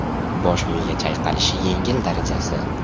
Bosh miya chayqalishi yengil darajasi.